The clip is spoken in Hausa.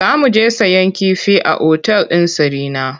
Za mu je sayen kifi a otal ɗin Sarina.